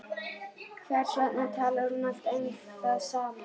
Hvers vegna talar hún alltaf um það sama?